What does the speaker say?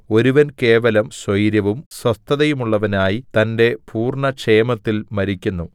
ഒരുവൻ കേവലം സ്വൈരവും സ്വസ്ഥതയുമുള്ളവനായി തന്റെ പൂർണ്ണക്ഷേമത്തിൽ മരിക്കുന്നു